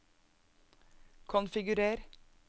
konfigurer